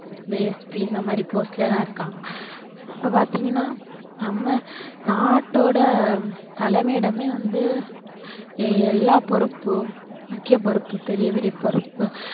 இந்த SP இந்த மாதிரி post ல எல்லாம் இருக்காங்க. இப்போ பாத்தீங்கன்னா நம்ம நாட்டோட தலைமையிடமே வந்து எல்லா பொறுப்பும் முக்கிய பொறுப்பு பெரிய பெரிய பொறுப்பு